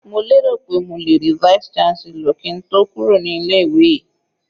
Mo lérò pé mo lè rí Vice chancellor kí n tó kúrò ní ilé ìwé yìí.